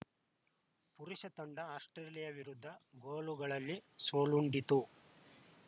ಪುರುಷ ತಂಡ ಆಸ್ಪ್ರೇಲಿಯಾ ವಿರುದ್ಧ ಗೋಲುಗಳಲ್ಲಿ ಸೋಲುಂಡಿತು